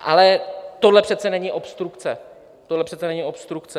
Ale tohle přece není obstrukce, tohle přece není obstrukce!